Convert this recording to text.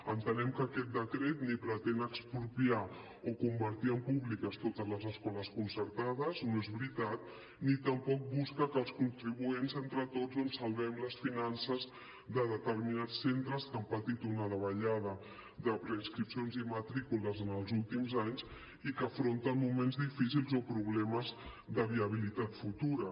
entenem que aquest decret ni pretén expropiar ni convertir en públiques totes les escoles concertades no és veritat ni tampoc busca que els contribuents entre tots doncs salvem les finances de determinats centres que han patit una davallada de preinscripcions i matrícules en els últims anys i que afronten moments difícils o problemes de viabilitat futura